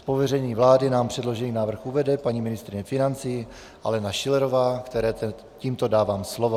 Z pověření vlády nám předložený návrh uvede paní ministryně financí Alena Schillerová, které tímto dávám slovo.